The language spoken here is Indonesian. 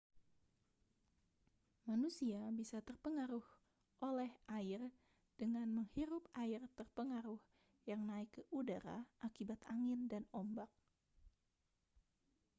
manusia bisa terpengaruh oleh air dengan menghirup air terpengaruh yang naik ke udara akibat angin dan ombak